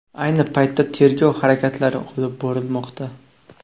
Ayni paytda tergov harakatlari olib borilmoqda.